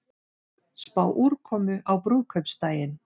Spá úrkomu á brúðkaupsdaginn